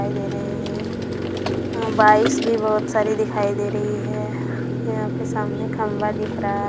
दिखाई दे रहे है यहाँ बाइक्स भी बहुत सारी दिखाई दे रही है यहाँ पे सामने खंभा दिख रहा--